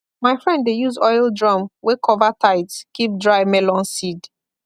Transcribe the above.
my friend dey use oil drum wey cover tight keep dry melon seed